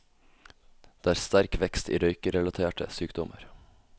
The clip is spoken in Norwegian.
Det er sterk vekst i røykerelaterte sykdommer.